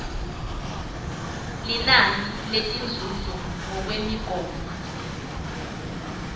linani letinzuzo ngekwemigomo